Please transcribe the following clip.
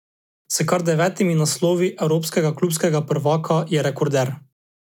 S kar devetimi naslovi evropskega klubskega prvaka je rekorder.